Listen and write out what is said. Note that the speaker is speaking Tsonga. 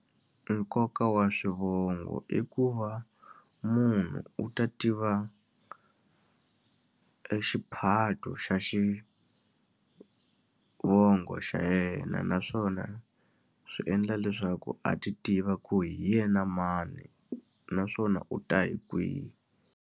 Nkoka wa swivongo i ku va munhu u ta tiva exiphato xa xivongo xa yena naswona swi endla leswaku a ti tiva ku hi yena mani, naswona u ta hi kwihi.